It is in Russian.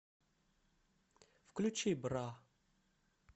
включи бра